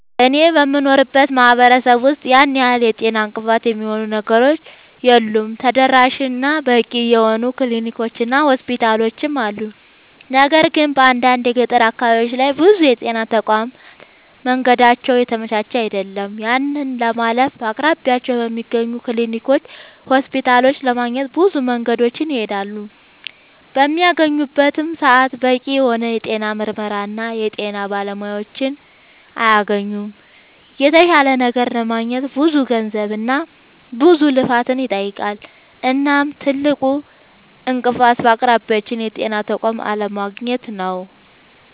አኔ በምኖርበት ማህበረሰብ ውስጥ ያን ያህል የጤና እንቅፋት የሚሆኑ ነገሮች የሉም ተደራሽ እና በቂ የሆኑ ክሊኒኮች እና ሆስፒታሎችም አሉ። ነገር ግን በአንዳንድ የገጠር አካባቢዎች ላይ ብዙ የጤና ተቋማት መንገዳቸው የተመቻቸ አይደለም። ያንን ለማለፍ በአቅራቢያቸው በሚገኙ ክሊኒኮችና ሆስፒታሎች ለማግኘት ብዙ መንገድን ይሄዳሉ። በሚያገኙበትም ሰዓት በቂ የሆነ የጤና ምርመራና የጤና ባለሙያዎችን አያገኙምና የተሻለ ነገር ለማግኘት ብዙ ገንዘብና ብዙ ልፋትን ይጠይቃል። እናም ትልቁ እንቅፋት በአቅራቢያው የጤና ተቋም አለማግኘቱ ነዉ